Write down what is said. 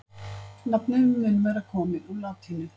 nafnið mun vera komið úr latínu